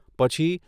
પછી